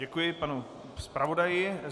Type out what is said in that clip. Děkuji panu zpravodaji.